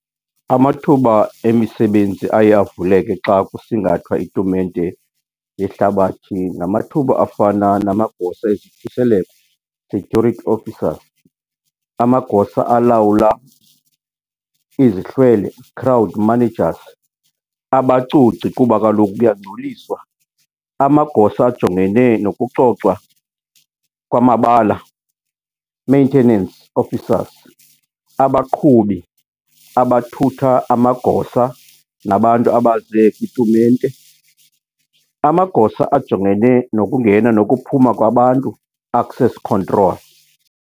Amathuba emisebenzi aye avuleke xa kusingathwa itumente yehlabathi. Ngamathuba afana namagosa ezokhuseleko, security officers, amagosa alawula izihlwele, crowd managers, abacoci kuba kaloku kuyangcoliswa. amagosa ajongene nokucocwa kwamabala, maintenance officers, abaqhubi abathutha amagosa nabantu abaze kwitumente, amagosa ajongene nokungena nokuphuma kwabantu, access control.